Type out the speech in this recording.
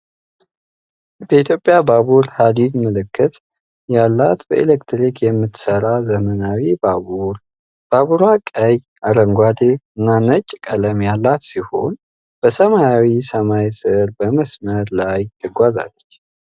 በኢትዮጵያ ባቡር ሐዲድ ምልክት ያላት በኤሌክትሪክ የምትሠራ ዘመናዊ ባቡር። ባቡሯ ቀይ፣ አረንጓዴና ነጭ ቀለም ያላት ሲሆን፣ በሰማያዊ ሰማይ ሥር በመስመር ላይ ትጓዛለች።